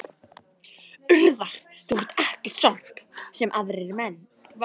Urðar þú ekki sorp, sem aðrir menn?